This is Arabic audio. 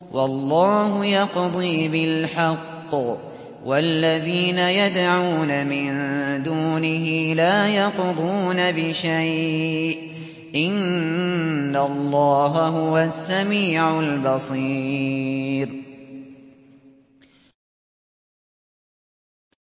وَاللَّهُ يَقْضِي بِالْحَقِّ ۖ وَالَّذِينَ يَدْعُونَ مِن دُونِهِ لَا يَقْضُونَ بِشَيْءٍ ۗ إِنَّ اللَّهَ هُوَ السَّمِيعُ الْبَصِيرُ